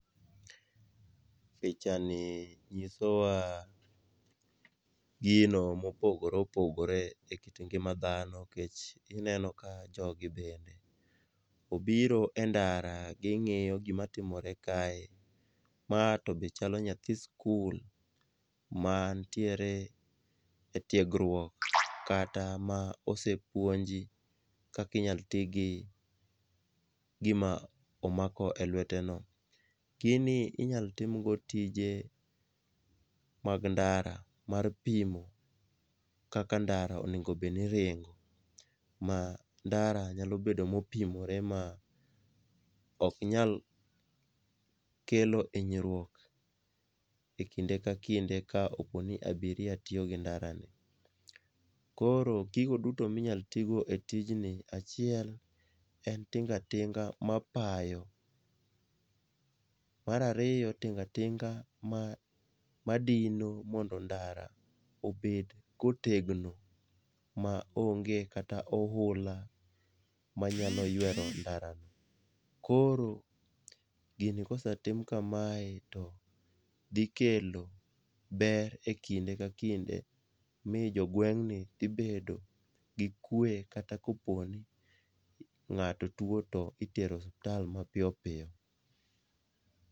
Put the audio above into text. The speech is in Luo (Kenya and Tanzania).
Pichani nyisowa gino mopogore opogore e kit ngima dhano nikech ineno ka jogi bende obiro e ndara ging'iyo gimatimore kae, ma to be chalo nyathi sikul mantiere e tiegruok kata ma osepuonji kaka inyalo tigi gima omako e lweteno. Gini inyalo timgo tije mag ndara mar pimo kaka ndara onego obedni ringo, ma ndara nyalo bedo mopimore ma ok inyal kelo hinyruok e kinde ka kinde ka oponi abiria tiyo gi ndarani. Koro gigo duto minyalo tigo etijni en tinga tinga ma payo, mar ariyo, tinga tinga madino mondo ndara obed kotegno ma onge kata ohula manyalo ywero ndarano. Koro gini kosetim kamae, to dhikelo ber e kinde ka kinde mi jogweng'ni dhi bedpo gi kwe kata kopo ni nga'to tuwo to itero osuptal mapiyo piyo.